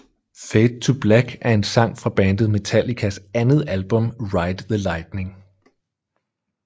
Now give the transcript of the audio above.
Fade To Black er en sang fra bandet Metallicas andet album Ride the Lightning